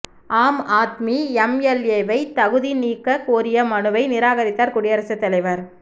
ஆம் ஆத்மி எம்எல்ஏவை தகுதி நீக்கக் கோரிய மனுவை நிராகரித்தாா் குடியரசுத் தலைவா்